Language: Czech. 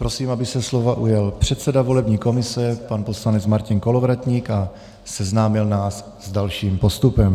Prosím, aby se slova ujal předseda volební komise pan poslanec Martin Kolovratník a seznámil nás s dalším postupem.